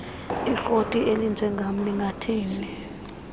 ikroti elinjengam lingathini